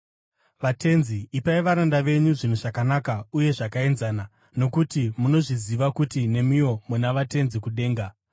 Vatenzi, ipai varanda venyu zvinhu zvakanaka uye zvakaenzana, nokuti munozviziva kuti nemiwo muna vaTenzi kudenga.